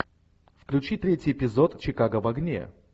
включи третий эпизод чикаго в огне